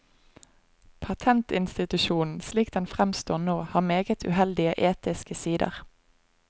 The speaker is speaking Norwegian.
Patentinstitusjonen, slik den fremstår nå, har meget uheldige etiske sider.